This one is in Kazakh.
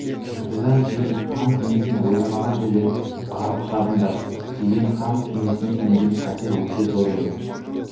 содан кейін хан кеңесін ойламаған жерден барып шабыңдар деген хан кеңесіне төнген қатер өте зор еді